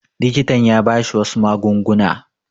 Likitan ya ba shi wasu magunguna.